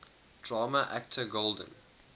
drama actor golden